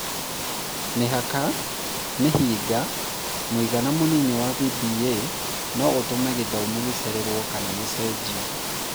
Mĩhaka/Mĩhĩnga; mũigana mũnini wa VBA no ũtũme githomo gĩcererwo kana gũcenjio.